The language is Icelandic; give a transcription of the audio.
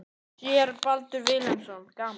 Séra Baldur Vilhelmsson: Gaman?